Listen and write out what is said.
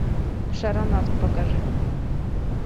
шаронавт покажи